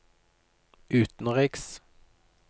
utenriks